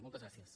moltes gràcies